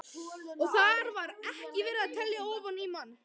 Og þar var ekki verið að telja ofan í mann.